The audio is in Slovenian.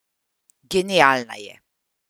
Genialna je.